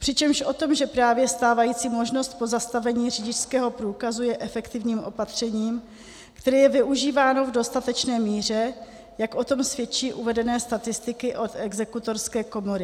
Přičemž o tom, že právě stávající možnost pozastavení řidičského průkazu je efektivním opatřením, které je využíváno v dostatečné míře, jak o tom svědčí uvedené statistiky od exekutorské komory.